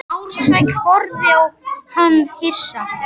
Ársæll horfði á hann hissa.